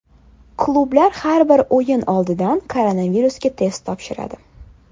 Klublar har bir o‘yin oldidan koronavirusga test topshiradi.